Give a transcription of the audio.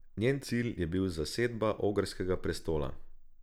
Njen cilj je bil zasedba ogrskega prestola.